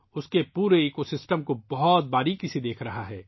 نو جوان پورے نظام کو بہت باریکی سے دیکھ رہا ہے